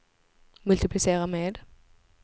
multiplicera med